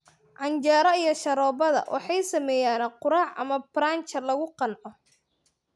Canjeero iyo sharoobada waxay sameeyaan quraac ama brunch lagu qanco.